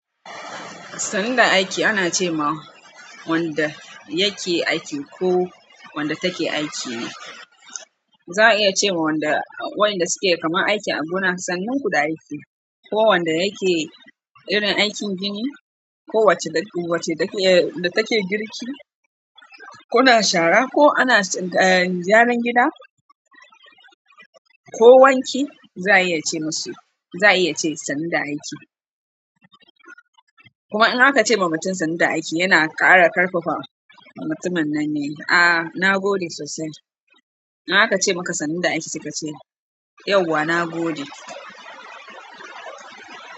Sannu da aiki ana ce ma wanda yake aiki ko wanda take aiki ne. Za a iya ce ma wayanda suke kaman aiki a gona sannun kiku da aiki, ko wanda yake irin aikin gini, ko wacce take girki, ko na shara, ko ana gyaran gida, ko wanki za a iya ce masu, za a iya ce sannu da aiki. Kuma in aka ce ma mutum sannu da aiki yana ƙara ƙarfafa mutumin nan ne, ah na gode sosai. In aka ce maka sannu da aiki sai ka ce yauwa na gode.